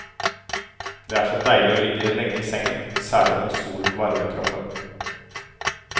Det er så deilig å ligge lenge i sengen, særlig når solen varmer kroppen.